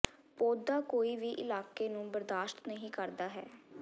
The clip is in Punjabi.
ਪੌਦਾ ਕੋਈ ਵੀ ਇਲਾਕੇ ਨੂੰ ਬਰਦਾਸ਼ਤ ਨਹੀ ਕਰਦਾ ਹੈ